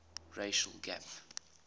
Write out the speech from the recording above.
racial gap